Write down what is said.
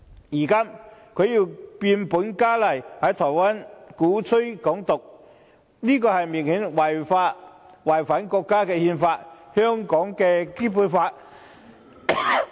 如今，他又變本加厲，在台灣鼓吹"港獨"，這明顯是違反國家的憲法及香港的《基本法》。